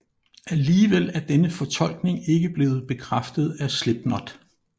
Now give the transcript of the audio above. Alligevel er denne fortolkning ikke blevet bekræftet af Slipknot